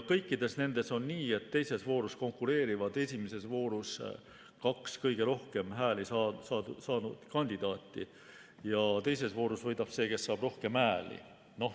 Kõikides nendes on nii, et teises voorus konkureerivad esimeses voorus kaks kõige rohkem hääli saanud kandidaati ja teises voorus võidab see, kes saab rohkem hääli.